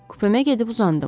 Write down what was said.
Kupemə gedib uzandım.